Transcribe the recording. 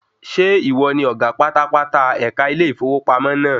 Ṣé ìwọ ni ọ̀gá pátápátá ẹ̀ka ilé ìfowópamọ́ naa?